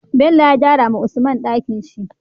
Bello ya gyara wa usman Ɗakinshi